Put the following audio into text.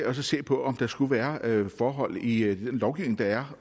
at se på om der skulle være forhold i i den lovgivning der er